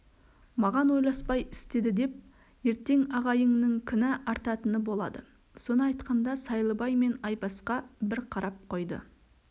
маған ойласпай істеді деп ертең ағайыңның кінә артатыны болады соны айтқанда сайлыбай мен айбасқа бір қарап қойды